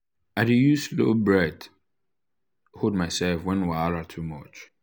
i dey use slow breath hold myself when wahala too much.